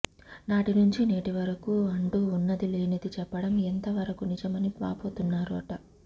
నాటి నుంచి నేటి వరకు అంటూ ఉన్నది లేనిది చెప్పడం ఎంత వరకు నిజమని వాపోతున్నారట